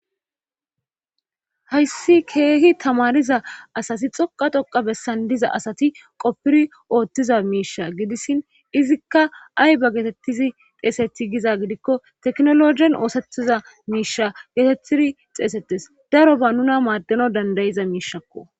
Hayssi keehi tamaniza asati xoqa toqa bessan diza asati qoppiri oothtiza miisha gidissin izikka ayba geetettizi xeeseti giza gidikko teknologen oosetiza miisha geetettidi xeesetes daro ba nuna maaddeno dandayiza miishakko.